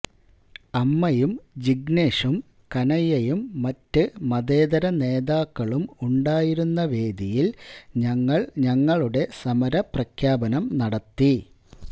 അമ്മയും ജിഗ്നേഷും കനയ്യയും മറ്റ് മതേതര നേതാക്കളും ഉണ്ടായിരുന്ന വേദിയില് ഞങ്ങള് ഞങ്ങളുടെ സമരപ്രഖ്യാപനം നടത്തി